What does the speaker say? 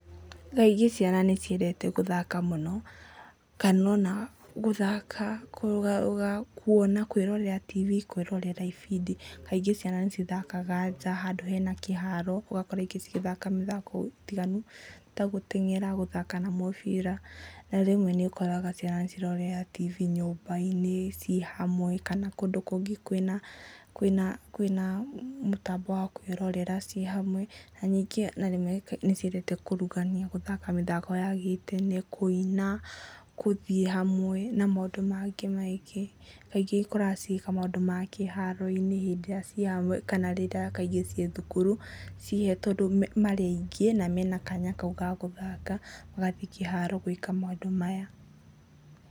Thaa ingĩ ciana nĩ ciendete gũthaka mũno kana ona gũthaka, kũrũgarũga kuona kwĩrorera tv, kwĩrorera ibindi. Kaingĩ ciana nĩ cithakaga nja, handũ hena kĩharo, ũgakora ingĩ cigĩthaka mĩthako mĩtiganu, ta gũteng'era, gũthaka na mũbira. Na rĩmwe nĩ ũkoraga ciana cirerorera tv nyũmba-inĩ ciĩ hamwe, kana kũndũ kũngĩ kwĩna mũtambo wa kwĩrorera ciĩ hamwe, na rmwe nĩ ciendete kũrugania, gũthaka mĩthako ya gĩtene, kũina, gũthiĩ hamwe na maũndũ mangĩ maingĩ. Kaingĩ ũkoraga cigĩka maũndũ ma kĩharo-inĩ ciĩ hamwe kana maũndũ mangĩ na rĩrĩa kaingĩ ciĩ thukuru, mahetwo rĩrĩa marĩ aingĩ na mena kanya kau ga gũthaka, magathiĩ kĩharo gwĩka maũndũ maya.